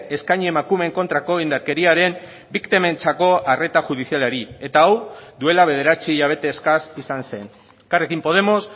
eskaini emakumeen kontrako indarkeriaren biktimentzako arreta judizialari eta hau duela bederatzi hilabete eskas izan zen elkarrekin podemos